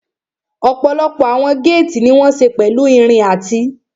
Ọ̀pọ̀lọpọ̀ àwọn géètì ní wọ́n ṣe pẹ̀lú irin àti